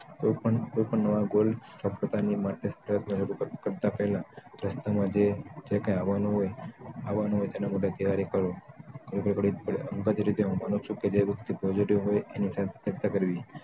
કે કોઈ પણ નવા goal પોત પોતાની મનસ્થા કરતાં પહેલા રસ્તામાં જે કઈ આવવાનું હોય તેના માટે તૈયારી કરો અંગત રીતે હું માનું છું કે જે વ્યક્તિ positive હોય એની self respect કરવી